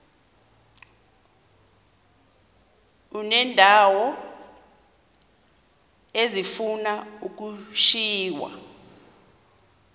uneendawo ezifuna ukushiywa